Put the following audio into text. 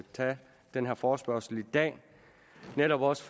tage den her forespørgsel i dag for netop også